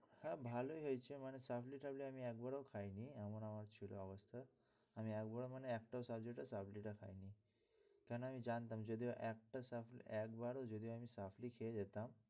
হ্যাঁ ভালোই হয়েছে, মানে supply টাপলি আমি একবারও খাইনি এমন আমার ছিল অবস্থা, আমি একবারও মানে একটা subject ও supply টা খাইনি কেনো আমি জানতাম যদি একটা supply একবারও যদি আমি supply খেয়ে যেতাম